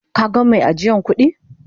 Ka gan mai ajiyan kudi?